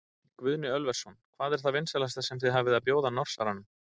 Guðni Ölversson: Hvað er það vinsælasta sem þið hafið að bjóða Norsaranum?